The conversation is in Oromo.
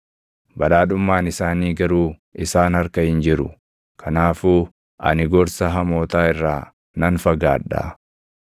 Badhaadhummaan isaanii garuu isaan harka hin jiru; kanaafuu ani gorsa hamootaa irraa nan fagaadha.